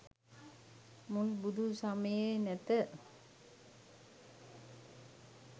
මුල් බුදු සමයේ නැත